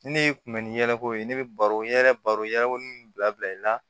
Ne kun bɛ ni yɛrɛko ye ne bɛ baro n ɲɛ baro min bila bila i la